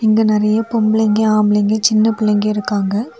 இங்க நறைய பொம்பளைங்க ஆம்பளைங்க சின்ன பிள்ளைங்க இருக்காங்க.